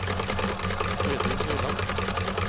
Freddy Høyland